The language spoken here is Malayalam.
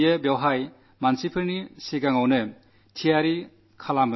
അത് ഞാൻ അവിടെ കൂടിയിരുന്ന ജനങ്ങളോടും പറഞ്ഞു